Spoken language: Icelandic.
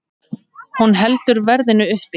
Hún heldur verðinu uppi.